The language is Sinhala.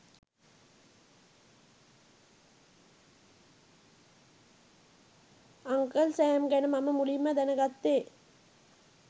අංකල් සෑම් ගැන මම මුලින්ම දැනගත්තේ